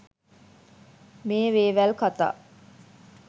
මේ වේවැල් කතා